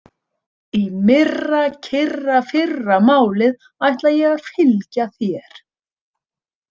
Í myrrakyrrafyrramálið ætla ég að fylgja þér.